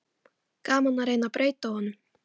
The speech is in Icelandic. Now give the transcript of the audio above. Gaman að reyna að breyta honum.